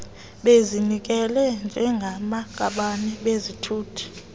bezinikele njengamaqabane bathuthe